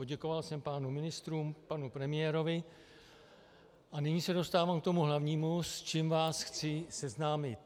Poděkoval jsem pánům ministrům, panu premiérovi a nyní se dostávám k tomu hlavnímu, s čím vás chci seznámit.